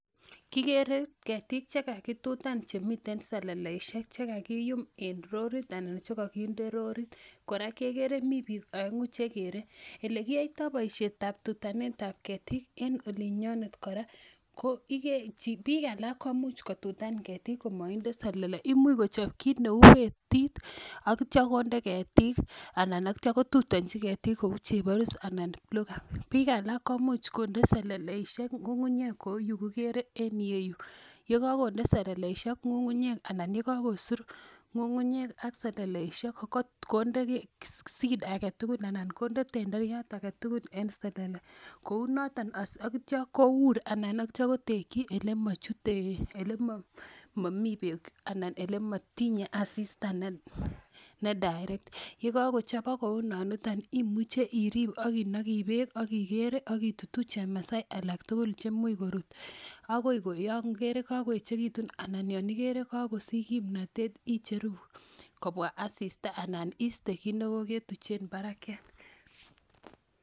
Kikere ketiik chekakitutan chemiten seleleisiek chekakiyum en lorit anan chekokinde lorit kora kekere mii biik oeng'u chekere. Elekiyoitoo boisiet ab tutanet ab ketik en olin nyonet kora ko biik alak komuch kotutan ketik komoinde selele imuch kochob kit neu betit ak itya konde ketik anan itya kotutonji ketik kou cheborus anan bluegum, biik alak komuch konde seleleisiek ng'ung'unyek kou yukikere en iyeyu yekakonde seleleisiek ng'ung'unyek anan yekakosur ng'ung'unyek ak seleleisiek konde seed aketugul anan konde tenderiat aketugul en selele kou noton ak itya kour anan ak itya kotekyin elemomii beek ana elemotinye asista ne direct yekakochobok kou noniton imuche irib ak inogi beek ak ikere ak itutuu chemasai alak tugul cheimuch korut akoi yon ikere kakoechekitun anan yon ikere kakosich kimnotet icheru kobwa asista ana iste kit nekoketuchen barakiat